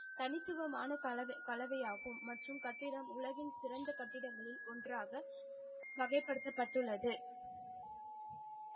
தனித்துவமான கலவை ஆகும். மற்றும் கட்டிடம் உலகின் சிறந்த கட்டிடங்களில் ஒன்றாக வகைப்படுத்தப் பட்டுள்ளது.